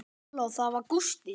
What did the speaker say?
Halló, það var Gústi.